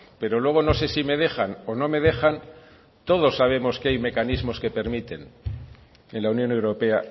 pero luego no sé si me dejan o no me dejan todos sabemos que hay mecanismos que permiten en la unión europea